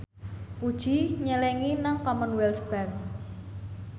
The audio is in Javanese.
Puji nyelengi nang Commonwealth Bank